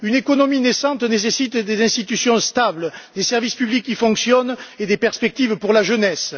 Une économie naissante nécessite des institutions stables, des services publics qui fonctionnent et des perspectives pour la jeunesse.